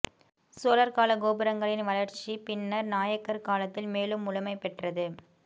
சோழர் காலக்கோபுரங்களின் வளர்ச்சி பின்னர் நாயக்கர் காலத்தில் மேலும் முழுமை பெற்றது